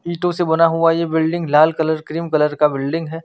इटो से बना हुआ ये बिल्डिंग लाल कलर क्रीम कलर का बिल्डिंग है।